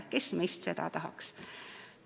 Kes meist seda tahaks!